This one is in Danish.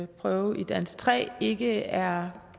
prøve i dansk tre ikke er